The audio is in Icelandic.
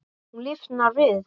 Hún lifnar við.